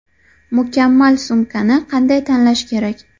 Mukammal sumkani qanday tanlash kerak?.